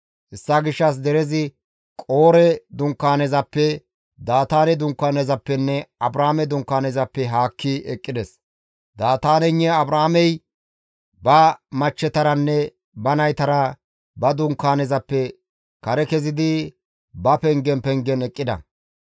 Hessa gishshas derezi qoore dunkaanezappe; Daataane dunkaanezappenne Abraame dunkaanezappe haakki eqqides. Daataaneynne Abraameykka ba machchetaranne ba naytara ba dunkaanezappe kare kezidi ba pengen pengen eqqida.